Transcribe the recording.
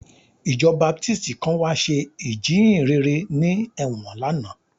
Ìjọ Baptist kan wá ṣe ìjíhìnrere ní ẹ̀wọ̀n lánàá